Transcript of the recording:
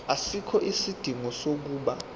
asikho isidingo sokuba